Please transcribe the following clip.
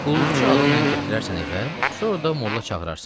Qulluqçu adı ilə gətirərsən evə, sonra da molla çağırarsan.